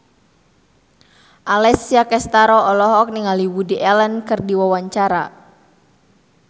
Alessia Cestaro olohok ningali Woody Allen keur diwawancara